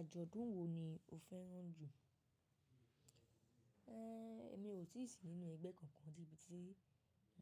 Àjọ̀dún wo ni o fẹ́ràn jù? Ë, mi ò tí ì sí nínú ẹgbẹ́ kankan tí,